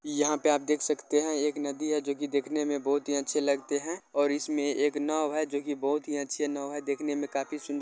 यहां पे आप देख सकते है एक नदी है जो की देखने में बहुत ही अच्छी लगते हैं और इसमें एक नाव है जो की बहुत ही अच्छे नाव है देखने में काफी सुन --